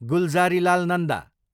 Gulzarilal Nanda